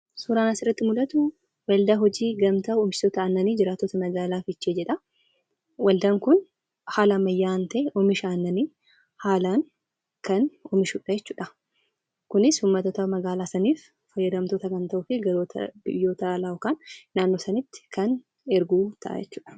Suuraan asirratti mul'atu, waaldaa hojii gamtaa oomishtoota annanii jiraatota magaalaa Fiichee jedhaa. Waldaan Kun haala ammayyaawaa ta'een Oomisha annanii haalaan kan oomishudha jechuudha. kunis uummattoota magaalaa saniif fayyadamtoota yookaan biyyoota alaa naannoo sanatti kan ergu ta'a jechuudha.